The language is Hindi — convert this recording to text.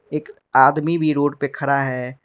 एक आदमी भी रोड पे खड़ा है।